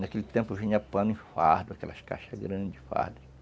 Naquele tempo vinha pano e fardo, aquelas caixas grandes de fardo.